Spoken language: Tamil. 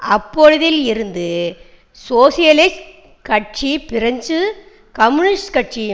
அப்பொழுதில் இருந்து சோசியலிஸ்ட் கட்சி பிரெஞ்சு கம்யூனிஸ்ட் கட்சி